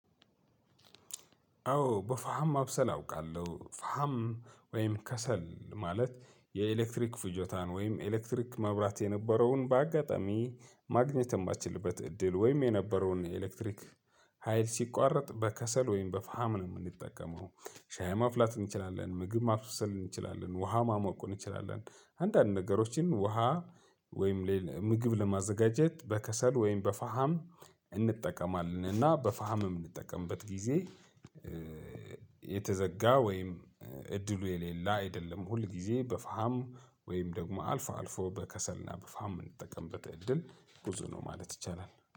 አዎ በፋሃም ማብሰል አውቃለሁ ፋሃም ወይም ከሰል ማለት የኤሌክትሪክ ፍጆታን ወይም ኤሌክትሪክ መብራት የነበረውን በአጋጣሚ ማግኘት የማትችልበት እድል ወይም የነበረውን ኤሌክትሪክ ሀይል ሲቋረጥ በከሰል ወይም በፋም ነው የምንጠቀመው ሻይ መፍላት እንችላለን ምግብ ማብሰል እንችላለን ውሃ ማሞቁን እንችላለን። አንዳንድ ነገሮችን ውሃ ወይም ላይ ምግብ ለማዘጋጀት በከሰል ወይም በፋሃም እንጠቀማለን እና በፋሃም እምንጠቀምበት ጊዜ። የተዘጋ ወይም እድሉ የሌላ አይደለም ሁል ጊዜ በፋም ወይም ደግሞ አልፎ አልፎ በከሰልና በፋም የምንጠቀምበት እድል ብዙ ነው ማለት ይቻላል